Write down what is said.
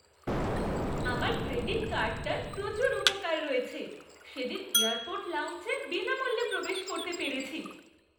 আমার ক্রেডিট কার্ডটার প্রচুর উপকার রয়েছে। সেদিন এয়ারপোর্ট লাউঞ্জে বিনামূল্যে প্রবেশ করতে পেরেছি।